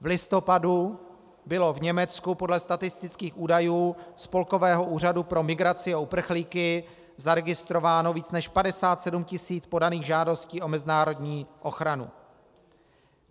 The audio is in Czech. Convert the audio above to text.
V listopadu bylo v Německu podle statistických údajů Spolkového úřadu pro migraci a uprchlíky zaregistrováno více než 57 tisíc podaných žádostí o mezinárodní ochranu.